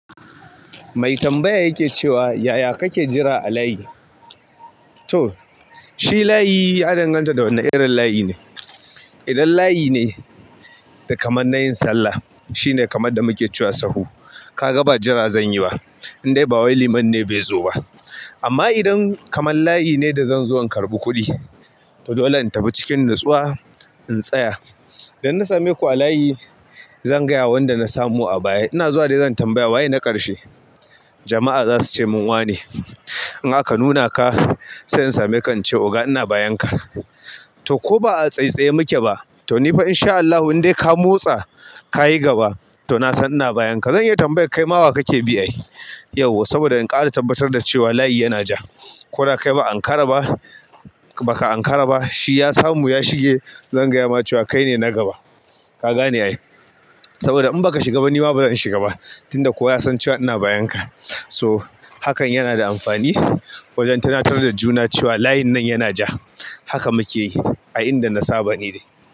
Mai tambaya yake cewa, "Yaya kake jira a layi?" To, shi layi ya danganta da wane irin layi ne. Idan layi ne da kamar na yin sallah, shine kamar da muke cewa sahu. Ka ga ba jira zan yi ba, in dai ba wai liman ne bai zo ba. Amma idan kamar layi ne da zan zo in karɓi kuɗi, to dole in tafi cikin natsuwa in tsaya. Dan na same ku a layi, zan gaya wanda na samu a baya. Ina zuwa de zan tambaya waye na ƙarshe jama'a zasu cemun wane in aka nuna ka, sai in same ka in ce oga ina bayanka. To ko ba'a tsaitsae mu ke ba, to ni fa in sha Allahu in dai ka motsa ka yi gaba, to na san ina bayanka. Zan iya tambayar kai ma wa kake bi ai yauwa. Saboda in ka haɗa tabbatar da cewa layi yana ja, ko da kai ba'an karaba, shi ya samu ya shige, zan gaya maka cewa kaine na gaba. Ka gane ai. Saboda in baka shiga ba ni ma bazan shiga ba, tunda koyasan cewa ina bayanka. So hakan yana da amfani wajen tunatar da juna cewa layin nan yana ja. Haka muke yi a inda na saba ni dai.